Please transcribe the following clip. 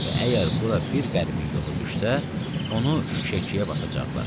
Və əgər bura bir qəribin yolu düşsə, onu şüşəkkiyə basacaqlar.